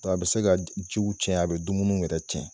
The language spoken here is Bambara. Bɔ a bɛ se ka jiw tiɲɛ , a bɛ dumuni yɛrɛ tiɲɛ.